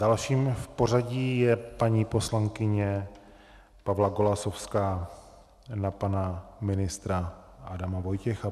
Dalším v pořadí je paní poslankyně Pavla Golasowská na pana ministra Adama Vojtěcha.